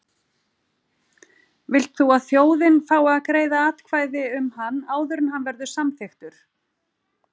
Vilt þú að þjóðin fái að greiða atkvæði um hann áður en hann verður samþykktur?